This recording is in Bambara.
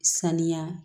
Saniya